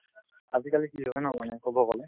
আজিকালি কি হয় ন মানে কব গলে